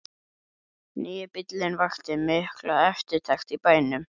Nýi bíllinn vakti mikla eftirtekt í bænum.